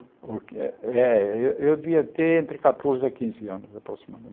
O é é, eu eu devia ter entre catorze e quinze anos,